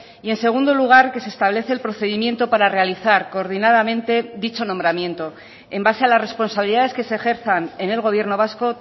y en segundo lugar que se establece el procedimiento para realizar coordinadamente dicho nombramiento en base a las responsabilidades que se ejerzan en el gobierno vasco